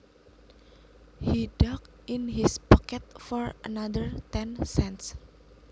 He dug in his pocket for another ten cents